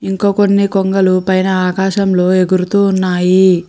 ఇంకా కొన్ని కొంగలు పైన ఆకాశంలో ఎగురుతూ ఉన్నాయి.